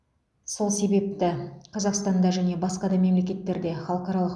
сол себепті қазақстанда және басқа да мемлекеттерде халықаралық